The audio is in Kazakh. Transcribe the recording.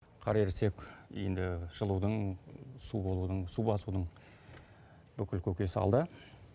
қар ерісек енді жылудың су болудың су басудың бүкіл көкесі алда